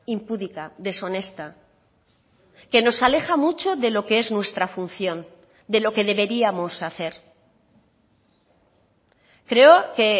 impúdica deshonesta que nos aleja mucho de lo que es nuestra función de lo que deberíamos hacer creo que